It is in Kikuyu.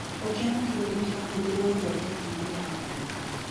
Giko kĩa marigũ nĩkĩrahũthĩrwo ũthondeki-inĩ wa biogas